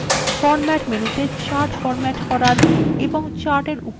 format মেনুতে chart format করার